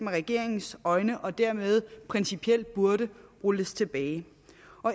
regeringens øjne er og dermed principielt burde rulles tilbage